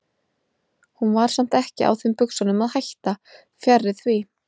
Hún var samt ekki á þeim buxunum að hætta, fjarri því.